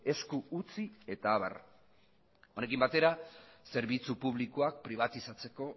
esku utzi eta abar honekin batera zerbitzu publikoak pribatizatzeko